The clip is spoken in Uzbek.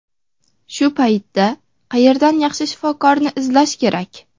Shu paytda qayerdan yaxshi shifokorni izlash kerak?